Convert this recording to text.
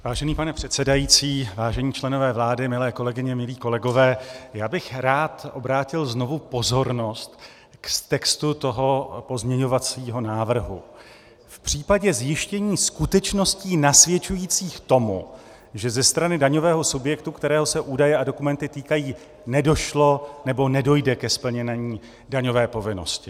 Vážený pane předsedající, vážení členové vlády, milé kolegyně, milí kolegové, já bych rád obrátil znovu pozornost k textu toho pozměňovacího návrhu: v případě zjištění skutečností nasvědčujících tomu, že ze strany daňového subjektu, kterého se údaje a dokumenty týkají, nedošlo nebo nedojde ke splnění daňové povinnosti.